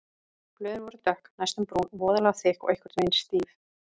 Blöðin voru dökk, næstum brún, voðalega þykk og einhvern veginn stíf.